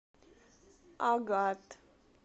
агат